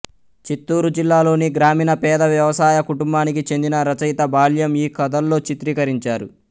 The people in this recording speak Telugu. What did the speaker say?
చిత్తూరు జిల్లాలోని గ్రామీణ పేద వ్యవసాయ కుటుంబానికి చెందిన రచయిత బాల్యం ఈ కథల్లో చిత్రీకరించారు